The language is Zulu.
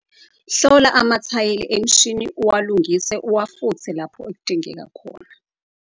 Hlola amathayeli emishini uwalungise uwafuthe lapho kudingeka khona.